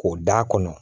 K'o d'a kɔnɔ